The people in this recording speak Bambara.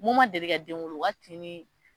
Mun ma deli ka den wolo o ka tin ni.